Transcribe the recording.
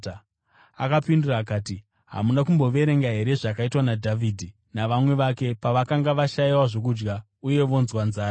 Akapindura akati, “Hamuna kumboverenga here zvakaitwa naDhavhidhi navamwe vake pavakanga vashayiwa zvokudya uye vonzwa nzara?